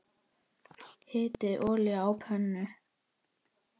Hitið olíu á pönnu.